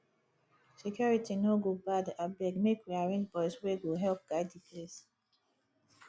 security no go bad abeg make we arrange boys wey go help guide di place